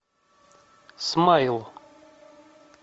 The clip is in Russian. смайл